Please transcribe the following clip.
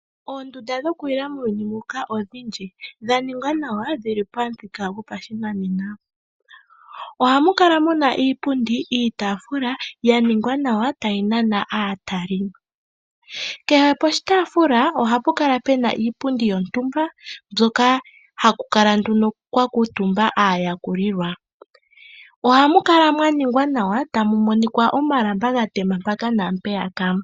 Oondunda dhokulila muuyuni mbuka odhindji, dha ningwa nawa nodhi li pamuthika gopashinanena. Ohamu kala mu na iipundi niitaafula ya ningwa nawa tayi nana aatalelipo. Kehe poshitaafula ohapu kala pu na iipundi yontumba hoka haku kala kwa kuutumba aayakulwa. Ohamu kala mwa ningwa nawa tamu monika omalamba ga tema mpaka naampeyaka.